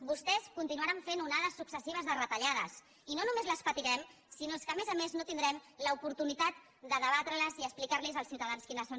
vostès continuaran fent onades successives de retallades i no només les patirem sinó que a més a més no tindrem l’oportunitat de debatre les i explicar als ciutadans quines són